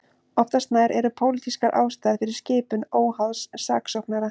Oftast nær eru pólitískar ástæður fyrir skipun óháðs saksóknara.